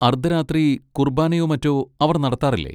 അർദ്ധരാത്രി കുർബാനയോ മറ്റോ അവർ നടത്താറില്ലേ?